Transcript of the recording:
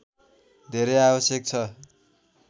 धेरै आवश्यक छ